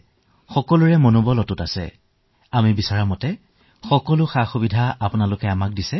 আপুনি সকলো চিকিৎসালয়কে সমৰ্থন প্ৰদান কৰিছে আমি যি বস্তু বিচাৰিছো সেয়া আপুনি দি আছে